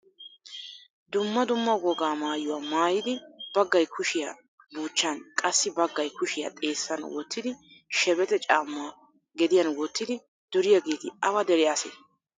Dumma dumma wogaa maayuwa maayidi baggay kushiya buuchchan qassi baggay kushiya xeessan wottidi shebexe caammaa gediyan wottidi duriyageeti awa dere asee?